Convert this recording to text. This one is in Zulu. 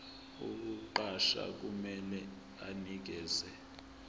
ukukuqasha kumele anikeze